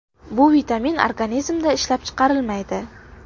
Bu vitamin organizmda ishlab chiqarilmaydi.